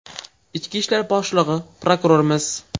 Ichki ishlar boshlig‘i, prokurorimiz?